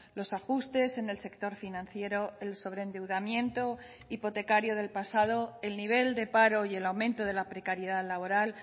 los ajustes en el sector financiero el sobreendeudamiento hipotecario del pasado el nivel de paro y el aumento de la precariedad laboral